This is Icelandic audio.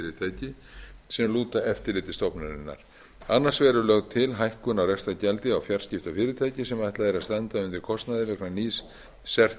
á fyrirtæki sem lúta eftirliti stofnunarinnar annars vegar er lög til hækkun á rekstrargjaldi á fjarskiptafyrirtæki sem ætlað er að standa undir kostnaði vegna nýs cert